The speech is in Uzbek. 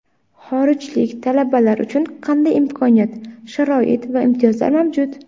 Xorijlik talabalar uchun qanday imkoniyat, sharoit va imtiyozlar mavjud?